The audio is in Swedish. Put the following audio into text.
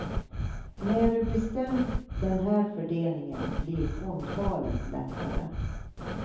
När du bestämt den här fördelningen blir fondvalet lättare.